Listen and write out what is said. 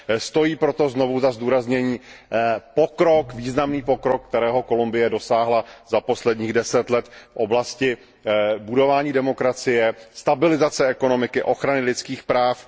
Stojí proto znovu za zdůraznění významný pokrok, kterého Kolumbie dosáhla za posledních 10 let v oblasti budování demokracie, stabilizace ekonomiky, ochrany lidských práv.